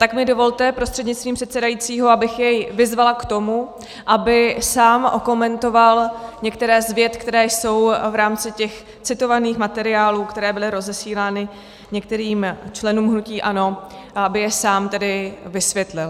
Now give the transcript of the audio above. Tak mi dovolte prostřednictvím předsedajícího, abych jej vyzvala k tomu, aby sám okomentoval některé z vět, které jsou v rámci těch citovaných materiálů, které byly rozesílány některým členům hnutí ANO, aby je sám tedy vysvětlil.